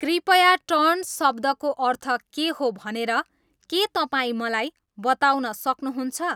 कृपया टर्न्ट शब्दको अर्थ के हो भनेर के तपाईँ मलाई बताउन सक्नुहुन्छ